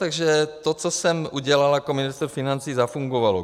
Takže to, co jsem udělal jako ministr financí, zafungovalo.